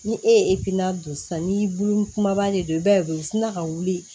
Ni e ye don sisan ni bolo kumaba de ye i b'a ye u sina ka wuli